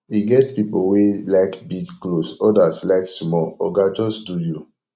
e get pipo wey like big clothes odas like small oga just do you